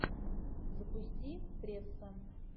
запусти пресса